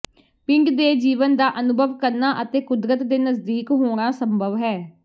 ਪਿੰਡ ਦੇ ਜੀਵਨ ਦਾ ਅਨੁਭਵ ਕਰਨਾ ਅਤੇ ਕੁਦਰਤ ਦੇ ਨਜ਼ਦੀਕ ਹੋਣਾ ਸੰਭਵ ਹੈ